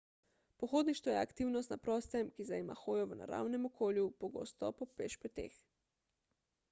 pohodništvo je aktivnost na prostem ki zajema hojo v naravnem okolju pogosto po pešpoteh